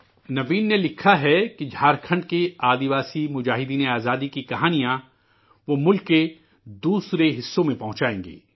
نوین نے لکھا ہے کہ جھارکھنڈ کے قبائلی مجاہدین آزادی کی کہانیاں وہ ملک کے دوسرے حصوں تک پہنچائیں گے